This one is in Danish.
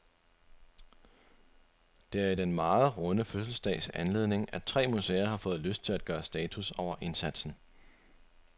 Det er i den meget runde fødselsdags anledning, at tre museer har fået lyst til at gøre status over indsatsen.